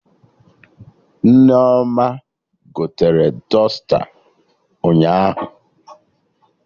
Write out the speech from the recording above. Nneoma gotere dọsta ụnyaahụ